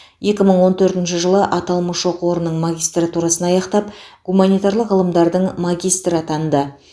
екі мың он төртінші жылы аталмыш оқу орнының магистратурасын аяқтап гуманитарлық ғылымдардың магистрі атанды